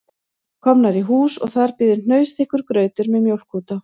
Komnir í hús og þar bíður hnausþykkur grautur með mjólk út á